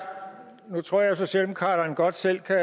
jeg tror socialdemokraterne godt selv kan